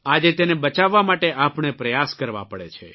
આજે તેને બચાવવા માટે આપણે પ્રયાસ કરવા પડે છે